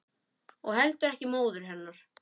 Og heldur ekki móður hennar.